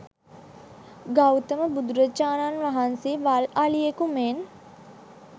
ගෞතම බුදුරජාණන් වහන්සේ වල් අලියෙකු මෙන්